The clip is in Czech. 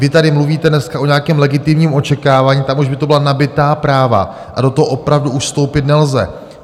Vy tady mluvíte dneska o nějakém legitimním očekávání - tam už by to byla nabytá práva a do toho opravdu už vstoupit nelze.